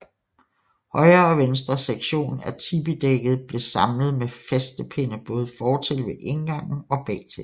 Højre og venstre sektion af tipidækket blev samlet med fæstepinde både fortil ved indgangen og bagtil